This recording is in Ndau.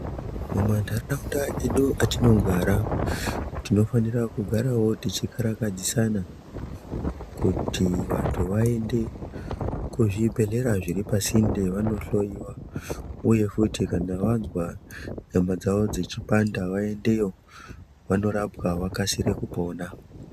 Kuma ndaraunda kwedu atinogara tinofanirawo kugara tichikakaradsisana kuti vantu vaende kuzvibhedhlera zviri pasinde vanohloiwa uye futi kana vanzwa nyama dzawo dzichipanda vaendeyo vandorapwa vakasire kupona.